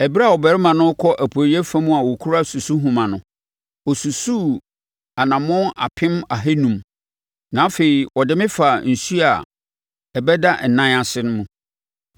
Ɛberɛ a ɔbarima no rekɔ apueeɛ fam a ɔkura susuhoma no, ɔsusuu anammɔn apem ahanum (500,000), na afei ɔde me faa nsuo a ɛdeda nan ase mu.